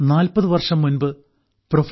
40 വർഷം മുമ്പ് പ്രൊഫ